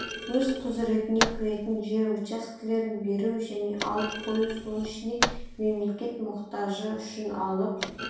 өз құзыретіне кіретін жер учаскелерін беру және алып қою соның ішінде мемлекет мұқтажы үшін алып